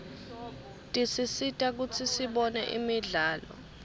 tisisita kutsi sibone imidlalo